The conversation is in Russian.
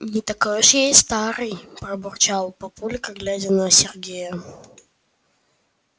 не такой уж я и старый пробурчал папулька глядя на сергея